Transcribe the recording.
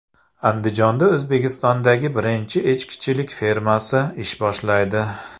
Andijonda O‘zbekistondagi birinchi echkichilik fermasi ish boshlaydi.